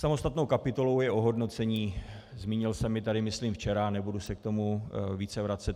Samostatnou kapitolou je ohodnocení, zmínil jsem ji tady myslím včera, nebudu se k tomu více vracet.